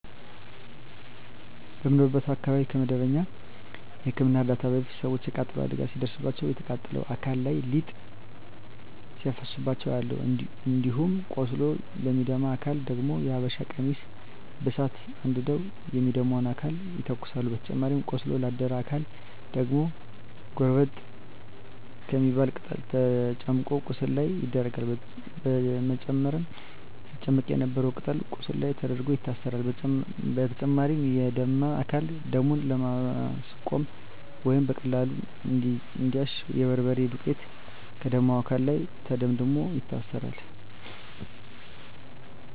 በምኖርበት አካባቢ ከመደበኛ የህክምና እርዳታ በፊት ሰወች የቃጠሎ አደጋ ሲደርስባቸው ከተቃጠለው አካል ላይ ሊጥ ሲያፈሱባቸው አያለሁ። እንዲሁም ቆስሎ ለሚደማ አካል ደግሞ የሀበሻ ቀሚስ በሳት አንድደው የሚደማውን አካል ይተኩሳሉ በተጨማሪም ቆስሎ ላደረ አካል ደግሞ ጎርጠብ የምትባል ቅጠል ተጨምቆ ቁስሉ ላይ ይደረጋል በመጨረም ሲጨመቅ የነበረው ቅጠል ቁስሉ ላይ ተደርጎ ይታሰራል። በተጨማሪም የደማ አካልን ደሙን ለማስቆመረ ወይም በቀላሉ እንዲያሽ የበርበሬ ዱቄት ከደማው አካል ላይ ተደምድሞ ይታሰራል።